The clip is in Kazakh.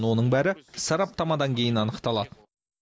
оның бәрі сарапатамадан кейін анықталады